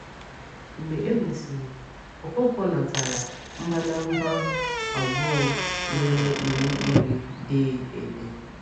Mgbe e mesịrị, Ọkọnkwo natara mbadamba abụọ nwere Iwu Iri dee ede.